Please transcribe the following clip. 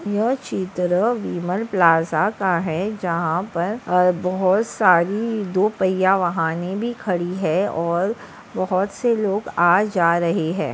यह चित्र विमल प्लाज़ा का है जहा पर ह बहुत सारी दो पहिया वाहने भी खड़ी है और बहुत से लोग आ जा रही है।